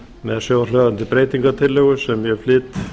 með svohljóðandi breytingartillögu sem ég flyt